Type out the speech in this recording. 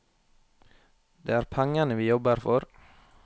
Det er pengene vi jobber for.